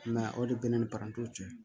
o de bɛ ne ni parantiw cɛ